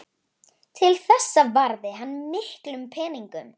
Til þessa varði hann miklum peningum.